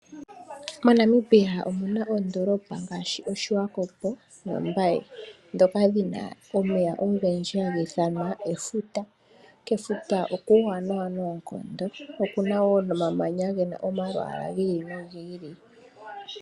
MoNamibia omuna oondoolopa ngaashi oSwakop nombaye, dhoka dhina omeya ogendji hagi ithanwa efuta. Kefuta okuuwanawa noonkondo, okuna wo nomamanya gena omalwaala giili nogiili.